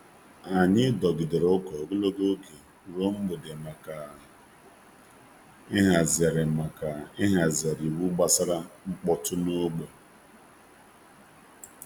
Anyị dọgidere ụka ogologo oge ruo mgbede maka ịhazigharị iwu gbasara mkpọtụ n’ógbè.